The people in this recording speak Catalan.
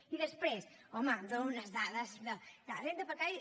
i després home dóna unes dades de renda per capita